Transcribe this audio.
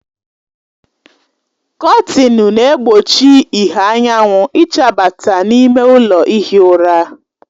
Kọtinị na-egbochi ìhè anyanwụ ịchabata n'ime ụlọ ihi ụra